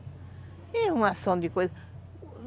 E arrumação de coisa.